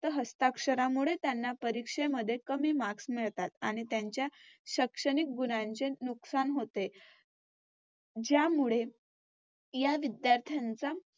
हस्ताक्षरामुळे त्यांना परीक्षेमध्ये कमी Marks मिळतात आणि त्यांच्या शैक्षणिक गुणांचे नुकसान होते. ज्यामुळे या विद्यार्थ्यांचा